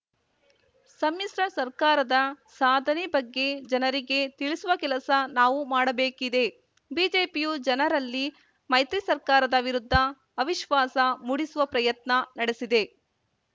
ಸಮ್ಮಿಶ್ರ ಸರ್ಕಾರದ ಸಾಧನೆ ಬಗ್ಗೆ ಜನರಿಗೆ ತಿಳಿಸುವ ಕೆಲಸ ನಾವು ಮಾಡಬೇಕಿದೆ ಬಿಜೆಪಿಯು ಜನರಲ್ಲಿ ಮೈತ್ರಿ ಸರ್ಕಾರದ ವಿರುದ್ಧ ಅವಿಶ್ವಾಸ ಮೂಡಿಸುವ ಪ್ರಯತ್ನ ನಡೆಸಿದೆ